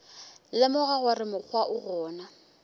lemoga gore mokgwa o gona